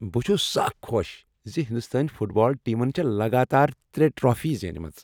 بہٕ چُھس سَخ خۄش زِ ہندوستٲنۍ فٹ بال ٹیمن چھےٚ لگاتار ترے ٹرافی زینِمژٕ۔